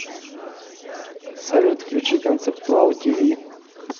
салют включи концептуал ти ви